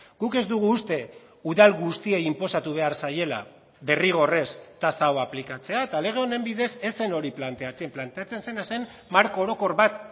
guk ez dugu uste udal guztiei inposatu behar zaiela derrigorrez tasa hau aplikatzea eta lege honen bidez ez zen hori planteatzen planteatzen zena zen marko orokor bat